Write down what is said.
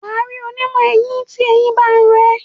wà á rí onímọ̀-eyín tí eyín ba ń ro ẹ́.